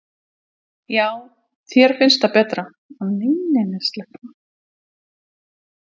Brynja: Já þér finnst það betra?